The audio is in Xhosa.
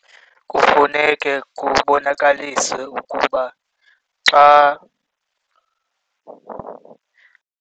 Kufuneke kubonakaliswe ukuba xa.